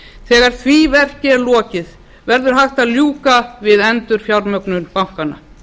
þegar því verki er lokið verður hægt að ljúka við endurfjármögnun bankanna